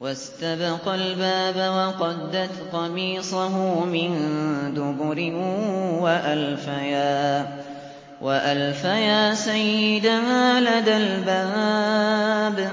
وَاسْتَبَقَا الْبَابَ وَقَدَّتْ قَمِيصَهُ مِن دُبُرٍ وَأَلْفَيَا سَيِّدَهَا لَدَى الْبَابِ ۚ